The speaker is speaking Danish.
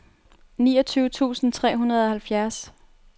niogtyve tusind tre hundrede og halvfjerds